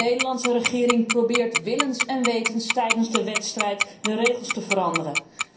De Nederlandse regering probeert willens en wetens tijdens de wedstrijd de regels te veranderen.